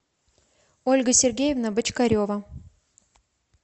ольга сергеевна бочкарева